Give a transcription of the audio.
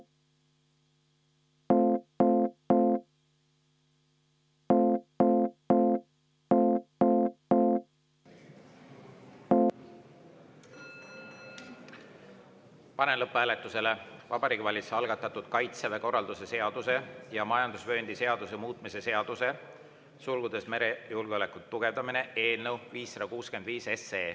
Panen lõpphääletusele Vabariigi Valitsuse algatatud Kaitseväe korralduse seaduse ja majandusvööndi seaduse muutmise seaduse eelnõu 565.